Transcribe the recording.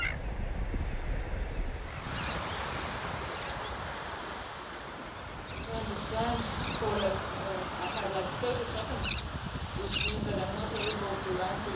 As I understand it, I only have 30 seconds, which means that I am not able to answer your question, as we really have a huge number of problems here.